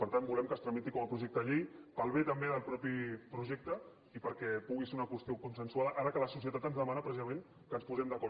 per tant volem que es tramiti com a projecte de llei per al bé també del mateix projecte i perquè pugui ser una qüestió consensuada ara que la societat ens demana pre cisament que ens posem d’acord